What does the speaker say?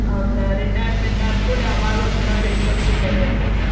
ಅವರ್ದ್ರ್ retirement ಅದ್ಕುಳೆ ಅವಗೊಂಥರಾ ಬೀಳ್ಕೊಡುಗೆ ಬೇರೆ ಇರ್ತೇತಿ.